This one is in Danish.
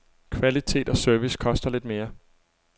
Kvalitet og service koster lidt mere.